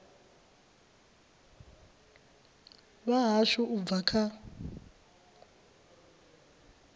vha hashu u bva kha